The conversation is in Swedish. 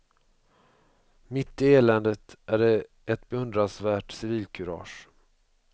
Mitt i eländet är det ett beundransvärt civilkurage.